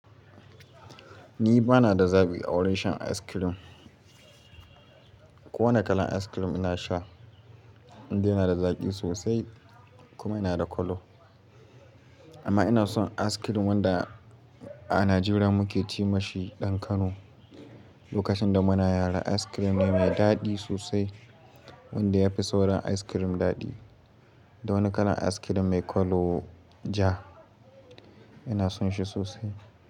Ni bana da zaɓi a wurin shan ice cream. Kowane kalan ice cream ina sha, indai na da zaƙi sosai kuma yana da kalo. Amma ina son ice cream wanda a Najeriya muke ce mashi ɗan Kano. Lokacin da muna yara ice cream ne mai daɗi sosai wanda yafi sauran ice cream daɗi. Dawani kalan ice cream mai kalo ja ina son shi sosai.